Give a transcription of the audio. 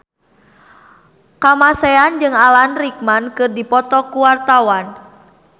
Kamasean jeung Alan Rickman keur dipoto ku wartawan